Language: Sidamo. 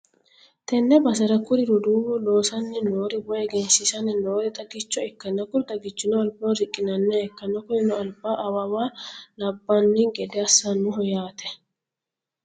tenne basera kuri roduuwi loosanni noori woy egensiisanni noori xagicho ikkanna, kuni xagichino albaho riqqi'nanniha ikkann, kunino alba awawa labbanni gede assannoho yaate.